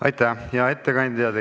Aitäh, hea ettekandja!